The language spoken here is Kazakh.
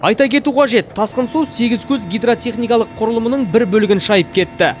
айта кету қажет тасқын су сегіз көз гидротехникалық құрылымының бір бөлігін шайып кетті